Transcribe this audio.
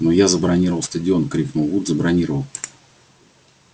но я забронировал стадион крикнул вуд забронировал